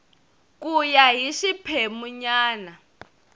ku ya hi xiphemu nyana